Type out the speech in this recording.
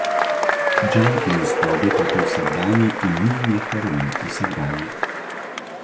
Džankijem sta obe plati vsakdanji in njim je heroin vsakdanji.